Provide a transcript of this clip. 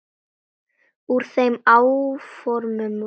Úr þeim áformum varð ekki.